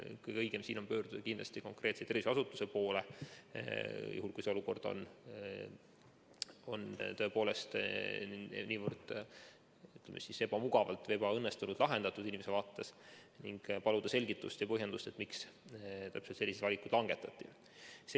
Kõige õigem on pöörduda kindlasti konkreetse terviseasutuse poole, kui see olukord oli tõepoolest niivõrd, ütleme, ebamugavalt või ebaõnnestunult lahendatud inimese vaates, ning paluda selgitust ja põhjendust, miks täpselt sellised valikud langetati.